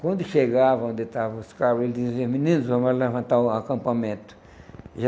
Quando chegavam, onde estavam os carros, eles diziam, meninos, vamos levantar o acampamento.